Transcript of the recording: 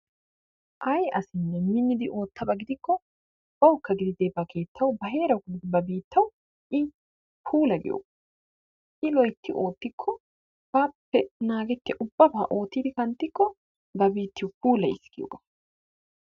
Ayi asinne minidi oottabaa gidikko bawukka gididee ba keettawu ba heerawu ba biittawu i puulayiyoo I loytti oottikko baappe naagetiya ubabaa oottidi kanttikko ba biittiyo puulayiis giyogaa.